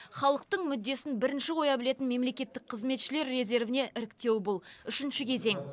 халықтың мүддесін бірінші қоя білетін мемлекеттік қызметшілер резервіне іріктеу бұл үшінші кезең